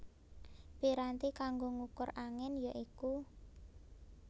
Piranti kanggo ngukur angin ya iku